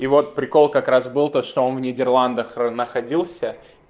и вот прикол как раз был то что он в нидерландах находился